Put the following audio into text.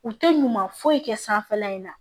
U tɛ ɲuman foyi kɛ sanfɛla in na